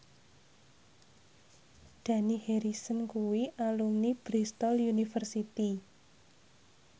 Dani Harrison kuwi alumni Bristol university